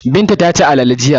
Binta ta ci alale jiya.